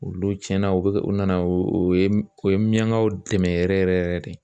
Olu tiɲɛna o bɛ kɛ o nana o ye o ye miɲankaw dɛmɛ yɛrɛ yɛrɛ yɛrɛ yɛrɛ yɛrɛ de